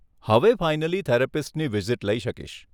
હવે ફાઇનલી થેરપિસ્ટની વિઝિટ લઈ શકીશ.